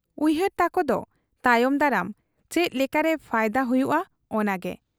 ᱩᱭᱦᱟᱹᱨ ᱛᱟᱠᱚᱫᱚ ᱛᱟᱭᱚᱢ ᱫᱟᱨᱟᱢ, ᱪᱮᱫ ᱞᱮᱠᱟᱨᱮ ᱯᱷᱟᱭᱫᱟ ᱦᱩᱭᱩᱜ ᱟ ᱚᱱᱟᱜᱮ ᱾